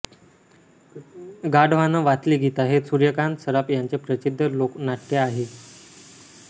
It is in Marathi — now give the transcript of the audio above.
गाढवानं वाचली गीता हे सूर्यकांत सराफ यांचे प्रसिद्ध लोकनाट्य आहे